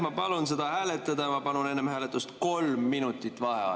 Ma palun seda hääletada ja ma palun enne hääletust 3 minutit vaheaega.